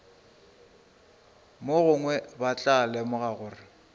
mogongwe ba tla lemoga gore